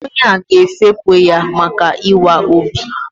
Onye ahụ ga-efepụ ya maka ịwa obi.